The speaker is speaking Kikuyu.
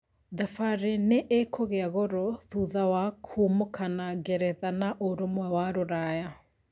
Thabarĩ nĩikũgia goro thutha wa kuumokana ngeretha na Ũrũmwe wa Rũraya